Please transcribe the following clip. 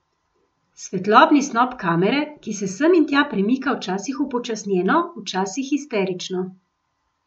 Svetlobni snop kamere, ki se sem in tja premika včasih upočasnjeno, včasih histerično.